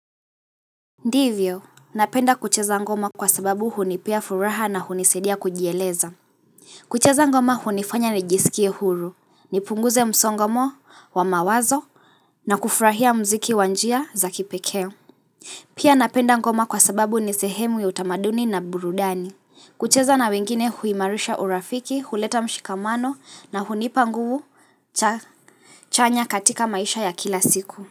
Ndivyo, napenda kucheza ngoma kwa sababu hunipea furaha na hunisaidia kujieleza kucheza ngoma hunifanya nijisikie huru, nipunguze msongomo wa mawazo na kufurahia mziki wa njia za kipekee Pia napenda ngoma kwa sababu ni sehemu ya utamaduni na burudani kucheza na wengine huimarisha urafiki, huleta mshikamano na hunipa nguvu cha chanya katika maisha ya kila siku.